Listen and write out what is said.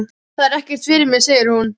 Það er ekkert fyrir mig, segir hún.